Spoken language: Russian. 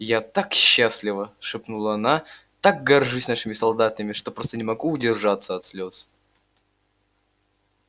я так счастлива шепнула она так горжусь нашими солдатами что просто не могу удержаться от слёз